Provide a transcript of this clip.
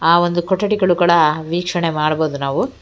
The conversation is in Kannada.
ಆ ಒಂದು ಕೊಠಡಿಗಳುಗಳ ವೀಕ್ಷಣೆ ಮಾಡ್ಬಹುದು ನಾವು.